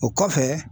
O kɔfɛ